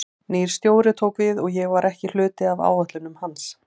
Nýr stjóri tók við og ég var ekki hluti af áætlunum hans.